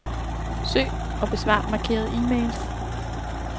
Søg og besvar markerede e-mails.